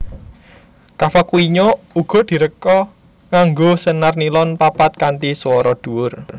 Cavaquinho uga diréka nganggo senar nilon papat kanthi swara dhuwur